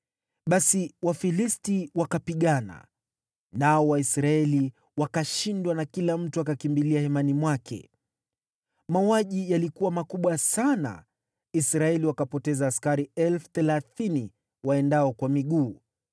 Basi Wafilisti wakapigana, nao Waisraeli wakashindwa na kila mtu akakimbilia hemani mwake. Mauaji yalikuwa makubwa sana, Israeli wakapoteza askari 30,000 waendao kwa miguu.